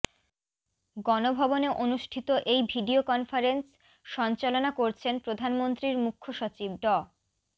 গণভবনে অনুষ্ঠিত এই ভিডিও কনফারেন্স সঞ্চালনা করছেন প্রধানমন্ত্রীর মুখ্য সচিব ড